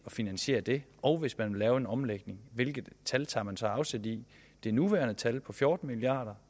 finansiere det og hvis man vil lave en omlægning hvilket tal tager man så tager afsæt i det nuværende tal på fjorten milliard